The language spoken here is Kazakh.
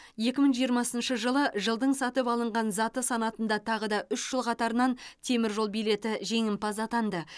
екі мың жиырмасыншы жылы жылдың сатып алынған заты санатында тағы да үш жыл қатарынан теміржол билеті жеңімпаз атанды